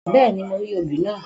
Bẹ́ẹ̀ni, mo rí obì naa.